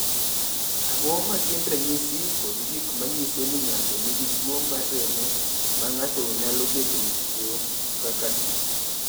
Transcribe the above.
"Ang’o ma gin ranyisi kod gik ma nyiso ni ng’ato nigi tuwo mar remo ma ng’ato nyalo bedogo kaka tuwo